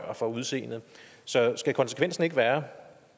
og udseende så skal konsekvensen ikke være